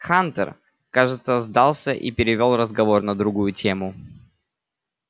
хантер кажется сдался и перевёл разговор на другую тему